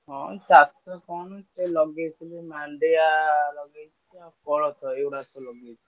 ହଁ ଚାଷ କଣ ଲଗେଇଥିଲି ମାଣ୍ଡିଆ ଲଗେଇଛି ଆଉ କୋଳଥ ଏ ଗୁଡିକା ସବୁ ଲଗାଇଛି।